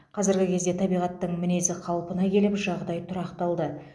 қазіргі кезде табиғаттың мінезі қалпына келіп жағдай тұрақталды